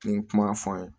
N ye kuma fɔ n ye